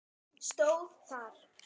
stóð þar.